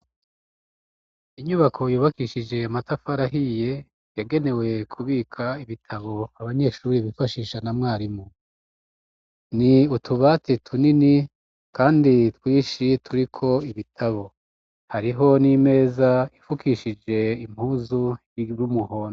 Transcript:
Inyubako yubakishije amatafari ahiye yagenewe kubika ibitabo abanyeshuri bifashisha na mwarimu ni utubati tunini kandi twishi turiko ibitabo hariho n'imeza ifukishije impuzu yrumuhondo.